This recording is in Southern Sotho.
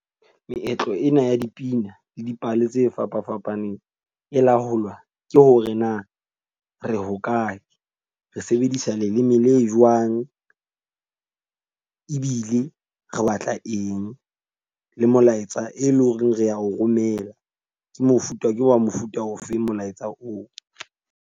Meetlo ena ya dipina le dipale tse fapafapaneng e laolwa ke hore na re hokae, re sebedisa leleme le jwang. Ebile re batla eng, le molaetsa e leng hore re a o romela ke mofuta ke wa mofuta ofeng molaetsa oo.